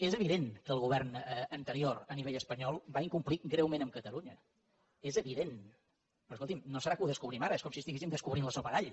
és evident que el govern anterior a nivell espanyol va incomplir greument amb catalunya és evident però escolti’m no serà que ho descobrim ara és com si estiguéssim descobrint la sopa d’all